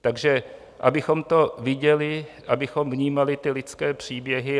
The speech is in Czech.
Takže abychom to viděli, abychom vnímali ty lidské příběhy.